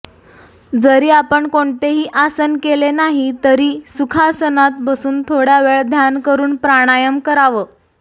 जरी आपण कोणतेही आसन केले नाही तरी सुखासनात बसून थोड्या वेळ ध्यान करून प्राणायाम करावं